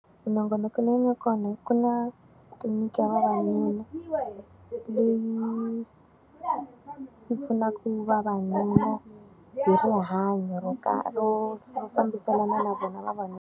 Minongonoko leyi nga kona ku na tliliniki ya vavanuna, leyi yi pfunaka ku vavanuna hi rihanyo ra karhi ro ro fambiselana na vona vavanuna.